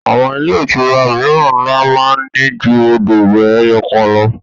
Àwọn ilé-ìtura mìíràn ńlá máa ní ju odò ìwẹ̀ ẹyọ̀kan lọ.